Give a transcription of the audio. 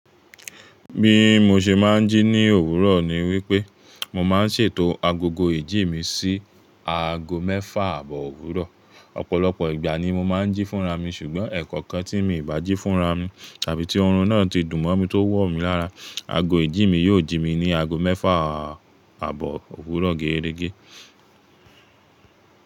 Bí mo ṣe máa ń jí ní òwúrọ̀ ni wípé mo máa ń ṣètò agogo ìjí mi sí aago mẹ́fà àbọ̀ òwúrọ̀. Ọ̀pọ̀lọpọ̀ ìgbà ni mo máa ń jí fúnra mi ṣùgbọ́n ẹ̀ẹ̀kọ̀kan tí mi ì bá jí fúnra mi tàbí tí oorun náà ti dùn mọ́ mi tó wọ̀ mí lára, ago ìjí mi yóò jí mi ní aago mẹ́fà àbọ̀ òwúrọ̀ géérégé.